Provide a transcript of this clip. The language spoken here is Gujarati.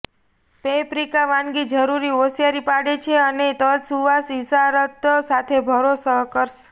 પૅપ્રિકા વાનગી જરૂરી હોશિયારી પાડે છે અને તજ સુવાસ ઇશારત સાથે ભરો કરશે